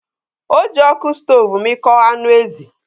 Ọ ji ọkụ stov mịkpọ anụ ezi.